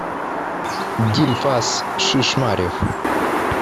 дильфаз шишмарев